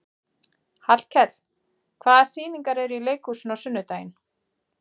Hallkell, hvaða sýningar eru í leikhúsinu á sunnudaginn?